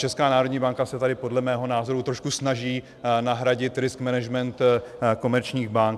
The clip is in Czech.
Česká národní banka se tady podle mého názoru trošku snaží nahradit risk management komerční bank.